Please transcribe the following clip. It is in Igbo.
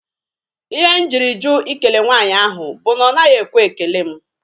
Ihe m jiri jụ Ị kele nwaanyị ahụ bụ na ọ naghị ekwe ekele mụ.